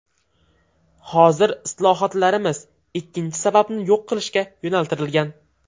Hozir islohotlarimiz ikkinchi sababni yo‘q qilishga yo‘naltirilgan.